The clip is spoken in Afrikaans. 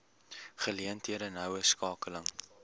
geleenthede noue skakeling